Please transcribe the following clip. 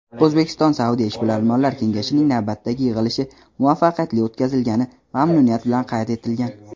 O‘zbekiston-Saudiya Ishbilarmonlar kengashining navbatdagi yig‘ilishi muvaffaqiyatli o‘tkazilgani mamnuniyat bilan qayd etilgan.